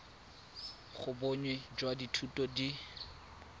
ga bonnye jwa dithuto di